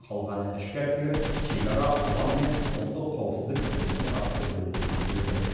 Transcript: қалғаны ішкі әскер шекара ұлан мен ұлттық қауіпсіздік комитетіне қарасты бөлімдерге бөлінеді